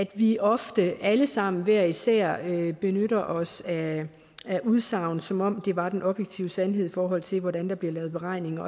vi ofte alle sammen og hver især benytter os af udsagn som om det var den objektive sandhed i forhold til hvordan der bliver lavet beregninger